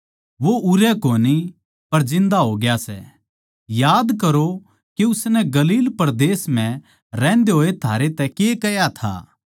वो उरै कोनी पर जिन्दा होग्या सै याद करो कै उसनै गलील परदेस म्ह रहंदे होए थारै तै कै कह्या था